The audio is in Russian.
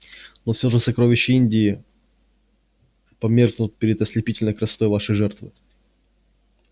но всё же сокровища индии померкнут перед ослепительной красотой вашей жертвы